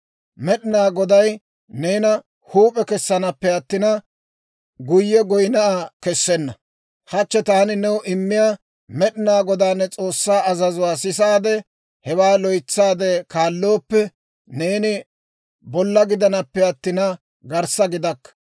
Med'inaa Goday neena huup'e kessanappe attina, guyye dufe kessenna. Hachche taani new immiyaa, Med'inaa Godaa ne S'oossaa azazuwaa sisaade, hewaa loytsaade kaallooppe, neeni bolla gidanappe attina, garssa gidakka.